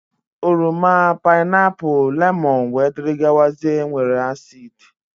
Oroma, painapu, lemon wdg nwere acid.